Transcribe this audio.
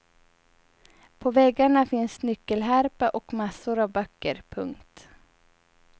På väggarna finns nyckelharpa och massor av böcker. punkt